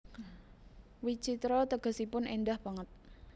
Witjitra tegesipun éndah banget